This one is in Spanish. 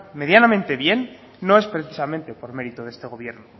medianamente bien no es precisamente por mérito de este gobierno